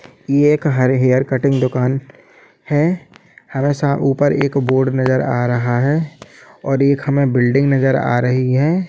यह एक hair cutting दूकान हैं हमे सामने ऊपर एक बोर्ड नजर आ रहा हैं और एक हमे बिल्डिंग नज़र आ रही हैं।